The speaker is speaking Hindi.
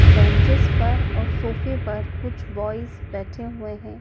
बेंचेस पर और सोफे पर कुछ ब्यायज बैठे हुए हैं।